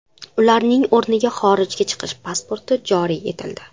Ularning o‘rniga xorijga chiqish pasporti joriy etildi.